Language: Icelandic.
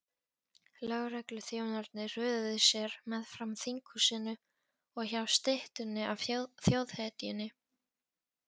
Lögregluþjónarnir röðuðu sér meðfram þinghúsinu og hjá styttunni af þjóðhetjunni.